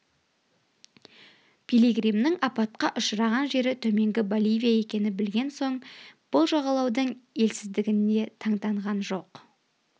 пилигримнің апатқа ұшыраған жері төменгі боливия екенін білген соң бұл жағалаудың елсіздігіне таңданған жоқ